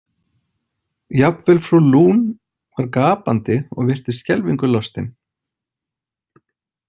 Jafnvel frú Lune var gapandi og virtist skelfingu lostin.